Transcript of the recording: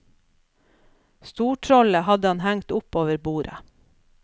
Stortrollet hadde han hengt opp over bordet.